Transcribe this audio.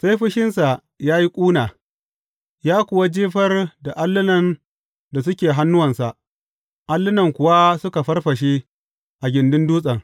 Sai fushinsa ya yi ƙuna, ya kuwa jefar da allunan da suke hannuwansa, allunan kuwa suka farfashe a gindin dutsen.